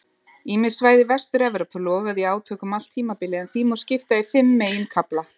Ýmis svæði Vestur-Evrópu loguðu í átökum allt tímabilið en því má skipta í fimm meginkafla.